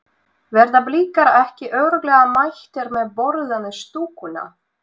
Verða Blikar ekki örugglega mættir með borðann í stúkuna?